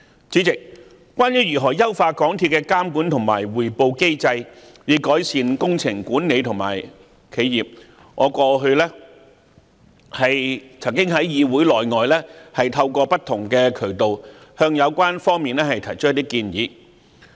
主席，關於如何優化港鐵公司的監管和匯報機制，以改善工程管理和企業，我過去在議會內外曾透過不同渠道向有關方面提出一些建議。